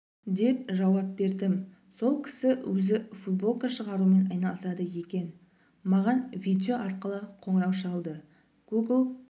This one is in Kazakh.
деп жауап бердім сол кісі өзі футболка шығарумен айналысады екен маған видео арқылы қоңырау шалды гугл